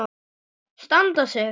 Standa sig.